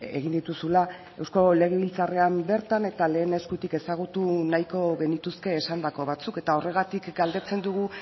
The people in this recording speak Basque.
egin dituzula eusko legebiltzarrean bertan eta lehen eskutik ezagutu nahiko genituzke esandako batzuk eta horregatik galdetzen dugu